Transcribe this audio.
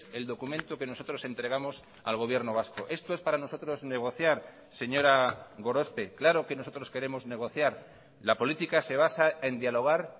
el documento que nosotros entregamos al gobierno vasco esto es para nosotros negociar señora gorospe claro que nosotros queremos negociar la política se basa en dialogar